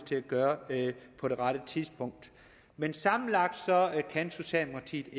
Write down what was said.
til at gøre det på det rette tidspunkt men sammenlagt kan socialdemokratiet